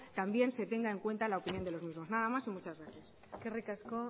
también se tenga en cuenta la opinión de los mismos nada más y muchas gracias eskerrik asko